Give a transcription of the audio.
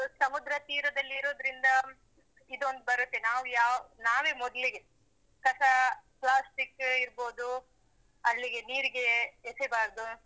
ಸಮುದ್ರ ತೀರದಲ್ಲಿರುದ್ರಿಂದ ಇದೊಂದ್ ಬರುತ್ತೆ. ನಾವು ಯಾವ್ ನಾವೇ ಮೊದ್ಲಿಗೆ ಕಸ plastic ಏ ಇರ್ಬೋದು ಅಲ್ಲಿಗೆ ನೀರಿಗೆ ಎಸೆಬಾರ್ದು.